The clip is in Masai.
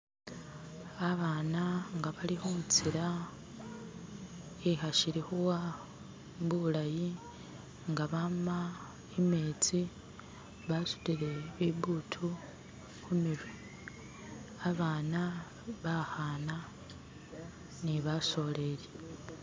Abaana nga bali khutsila ishili khuwa nga bama imetsi basutile bibutu khumirwe, abaana bakhana ni basoleli.